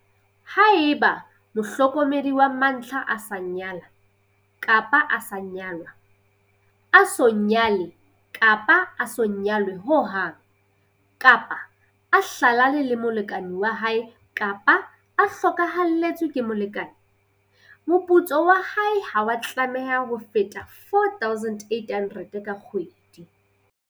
Haeba mohlokomedi wa mantlha a sa nyala-nyalwa, a so nyale-nyalwe ho hang, kapa a hlalane le molekane wa hae kapa a hlokahalletswe ke molekane, moputso wa hae ha wa tlameha ho feta R4 800 ka kgwedi.